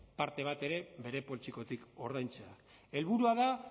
parte bat ere bere poltsikotik ordaintzea helburua da